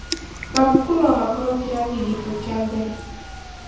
Mabuku no makorwo kĩrathi gĩtũ kĩa mbere.